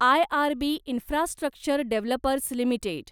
IRB infrastructure developers limited